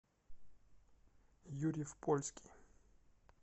юрьев польский